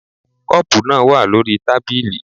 The cup is on the table